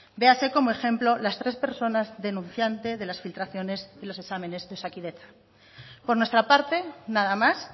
véase como ejemplo las tres personas denunciante de las filtraciones de los exámenes de osakidetza por nuestra parte nada más